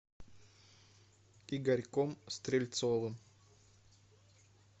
игорьком стрельцовым